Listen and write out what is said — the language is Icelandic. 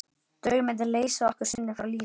Draumarnir leysa okkur stundum frá lífinu.